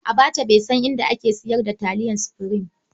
Abbacha bai san inda aka sayar da taliyar Supreme.